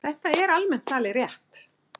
Þetta er almennt talið rétt.